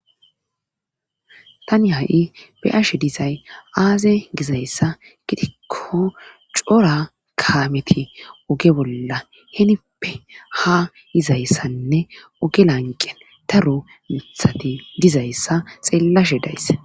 tani ha7i be'ashe dizay aaze gizayssa gidikko cora kaameti oge bolla heenippe ha yizayssanne oge lanqen taro mithati dizayssa xeellashe days